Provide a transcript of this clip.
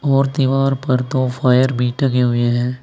और दीवार पर तो फायर बी टंगे लगे हुए हैं।